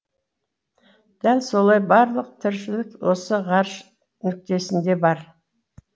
дәл солай барлық тіршілік осы ғарыш нүктесінде бар